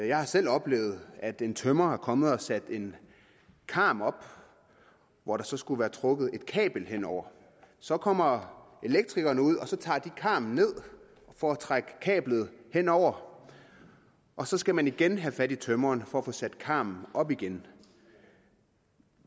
jeg har selv oplevet at en tømrer er kommet og har sat en karm op hvor der så skulle have været trukket et kabel hen over så kommer elektrikerne ud og så tager de karmen ned for at trække kablet hen over og så skal man igen have fat i tømreren for at få sat karmen op igen